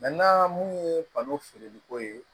mun ye balon feereliko ye